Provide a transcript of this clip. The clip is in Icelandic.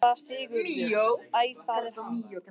SÉRA SIGURÐUR: Æ, það er hann!